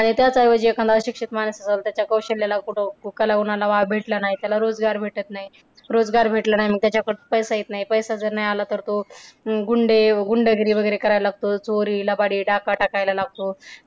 आणि त्याच ऐवजी एखाद अशिक्षित माणूस त्याच्या कौशल्याला, कला गुणांना वाव भेटला नाही. त्याला रोजगार भेटत नाही. रोजगार भेटला नाही मग त्याच्याकडे पैसा येत नाही, पैसे जर नाही आला तर तो अं गुंडे गुंडगिरी वगैरे करायला लागत. चोरी, लबाडी, डाका टाकायला लागतो.